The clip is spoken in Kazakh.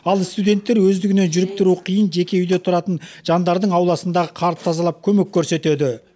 ал студенттер өздігінен жүріп тұруы қиын жеке үйде тұратын жандардың ауласындағы қарды тазалап көмек көрсетеді